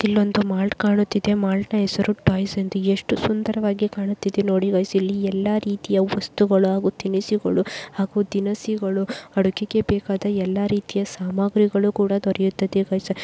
ಇಲ್ಲೊಂದು ಮಾಲ್ಟ್ ಕಾಣುತ್ತಿದೆ. ಮಲ್ಟಿ ಹೆಸರು ಟಾಯ್ಸ್ ಎಂದು ಹೇಳಿ ಕೂಡ ಎಷ್ಟು ಸುಂದರವಾಗಿ ಕಾಣುತ್ತಿದೆ. ನೋಡಿ ಗೈಸ ಇಲ್ಲಿ ಎಲ್ಲ ರೀತಿಯ ವಸ್ತುಗಳು ತಿನಿಸುಗಳು ಹಾಗೂ ದಿನಸಿಗಳು ಅಡುಗೆಗೆ ಬೇಕಾದ ಎಲ್ಲ ರೀತಿಯ ಸಾಮಗ್ರಿಗಳು ಕೂಡ ದೊರೆಯುತ್ತದೆ ಗೈಸ.